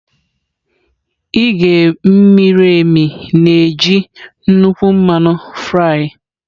Ighe miri emi na-eji nnukwu mmanụ fry.